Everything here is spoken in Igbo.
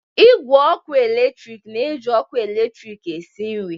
Igwe ọkụ eletrik na-eji ọkụ eletrik esi nri.